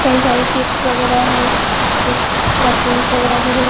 ये सारे चिप्स वगैरा है कुछ परफ्यूम्स वगैरा भी है।